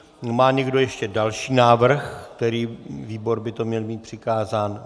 Má někdo ještě další návrh, který výbor by to měl mít přikázáno?